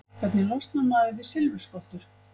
Hvernig losnar maður við silfurskottur?